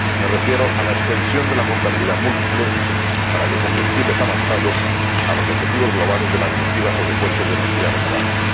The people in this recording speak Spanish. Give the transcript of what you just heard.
Me refiero a la extensión de la contabilidad múltiple para biocombustibles avanzados a los objetivos globales de la Directiva relativa a las fuentes de energía renovables.